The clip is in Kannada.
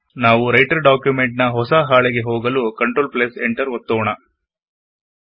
ನಾವು ರೈಟರ್ ಡಾಕ್ಯುಮೆಂಟ್ ನ ಹೊಸ ಹಾಳೆಗೆ ಹೋಗಲು ಕಂಟ್ರೋಲ್ಎಂಟರ್ ಒತ್ತೋಣ